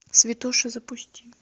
святоши запусти